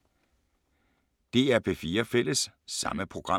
DR P4 Fælles